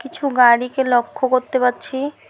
কিছু গাড়িকে লক্ষ করতে পারছি।